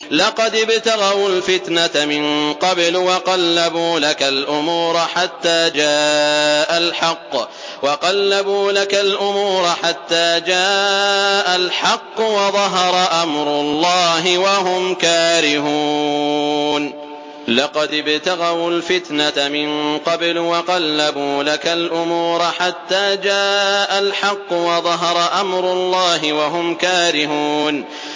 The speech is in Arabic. لَقَدِ ابْتَغَوُا الْفِتْنَةَ مِن قَبْلُ وَقَلَّبُوا لَكَ الْأُمُورَ حَتَّىٰ جَاءَ الْحَقُّ وَظَهَرَ أَمْرُ اللَّهِ وَهُمْ كَارِهُونَ